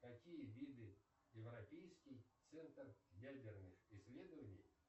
какие виды европейский центр ядерных исследований